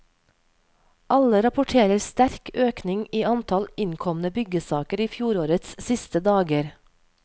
Alle rapporterer sterk økning i antall innkomne byggesaker i fjorårets siste dager.